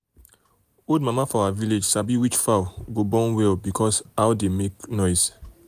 old mama for our village sabi which sabi which fowl go born well because how dey make noise.